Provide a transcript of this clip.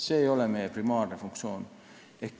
See ei ole meie primaarne funktsioon.